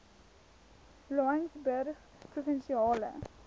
laingsburgprovinsiale